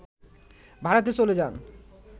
ভারতে চলে যান